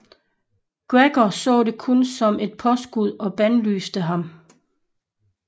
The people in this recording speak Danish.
Gregor så det kun som et påskud og bandlyste ham